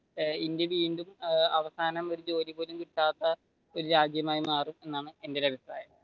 India വീണ്ടും അവസാനം ഒരു ജോലി പോലും കിട്ടാത്ത ഒരു രാജ്യമായി മാറും എന്നാണ് എന്റെ ഒരു അഭിപ്രായം.